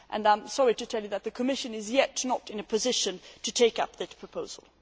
I am sorry to tell you that the Commission is not yet in a position to take up that proposal.